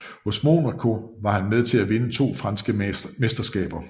Hos Monaco var han med til at vinde to franske mesterskaber